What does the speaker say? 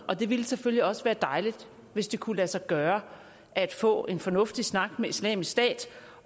og det ville selvfølgelig også være dejligt hvis det kunne lade sig gøre at få en fornuftig snak med islamisk stat